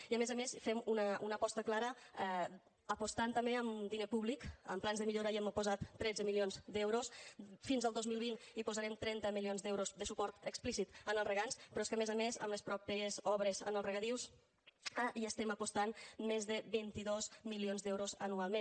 i a més a més fem una aposta clara apostant també amb diner públic en plans de millora hi hem posat tretze milions d’euros fins al dos mil vint hi posarem trenta milions d’euros de suport explícit als regants però és que a més a més en les mateixes obres en els regadius hi estem apostant més de vint dos milions d’euros anualment